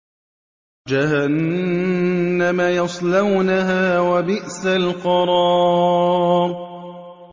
جَهَنَّمَ يَصْلَوْنَهَا ۖ وَبِئْسَ الْقَرَارُ